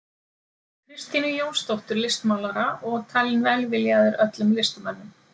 Kristínu Jónsdóttur listmálara og talinn velviljaður öllum listamönnum.